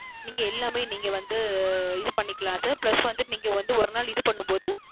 நீங்க எல்லாமே நீங்க வந்து இது பண்ணிக்கலாம் SirPlus வந்து நீங்க ஒரு நாள் இது பண்ணும் போது